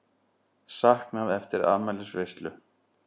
Saknað eftir afmælisveislu